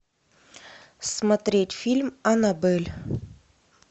смотреть фильм аннабель